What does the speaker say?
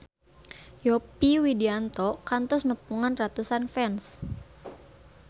Yovie Widianto kantos nepungan ratusan fans